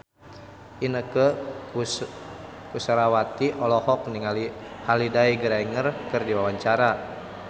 Inneke Koesherawati olohok ningali Holliday Grainger keur diwawancara